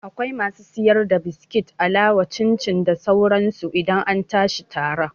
Akwai masu siyar da biskit, alawa, cin cin da sauran su idan an tashi tara